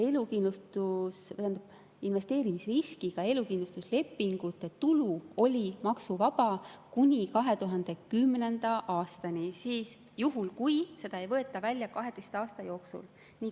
Investeerimisriskiga elukindlustuslepingute tulu oli maksuvaba kuni 2010. aastani, ja seda juhul, kui seda ei võeta välja 12 aasta jooksul.